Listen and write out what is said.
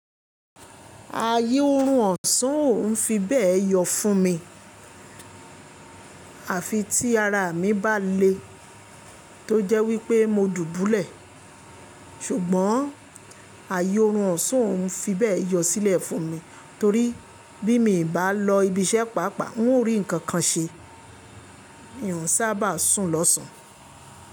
Ààyè òórùn ọ̀sán ò n fi bẹ́ẹ̀ yọ fún mi. Àfi tí ara mi bá le tó jẹ́ wípé mo dùbúlẹ̀. Ṣùgbọ́n ààyè òórùn ọ̀sán ò n fi bẹ́ẹ̀ yọ sílẹ̀ fún mi torí bí mi bà lọ ibi iṣẹ́ pàápàá, n ò rí ǹkan kan ṣe. N ò sába sùn lọ́sàn án.